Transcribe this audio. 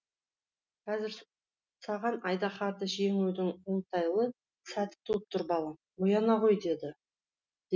қазір саған айдаһарды жеңудің оңтайлы сәті туып тұр балам ояна ғой деді